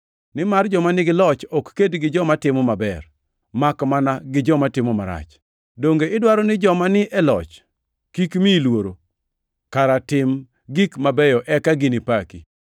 Nimar joma nigi loch ok ked gi joma timo maber makmana gi joma timo marach. Donge idwaro ni joma ni e loch kik miyi luoro? Kara tim gik mabeyo eka ginipaki.